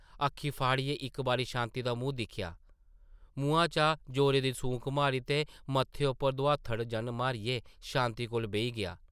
अक्खीं फाड़ियै इक बारी शांति दा मूंह् दिक्खेआ, मुहां चा जोरा दी सूंक मारी ते मत्थे उप्पर दोहात्थड़ जन मारियै शांति कोल बेही गेआ ।